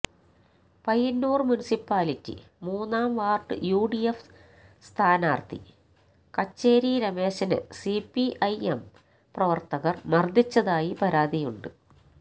Payyanur municipality മൂന്നാം ward UDF സ്ഥാനാര്ത്ഥി കച്ചേരി രമേശനെ സിപിഐഎം പ്രവര്ത്തകര് മര്ദ്ദിച്ചതായി പരാതിയുണ്ട്